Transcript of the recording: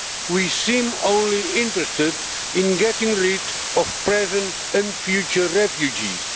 We seem only interested in getting rid of present and future refugees.